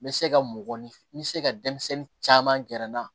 N bɛ se ka mɔgɔninfin n bɛ se ka denmisɛnnin caman gɛrɛ n na